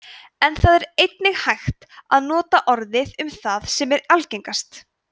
en það er einnig hægt að nota orðið um það sem er algengast